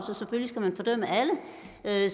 lad